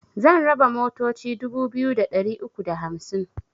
Zan raba motoci dubu biyu da ɗari uku da hamsin